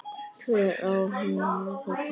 Hver á heima þarna?